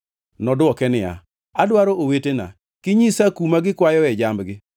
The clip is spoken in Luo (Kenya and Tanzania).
Nodwoke niya, “Adwaro owetena. Kinyisa kuma gikwayoe jambgi?”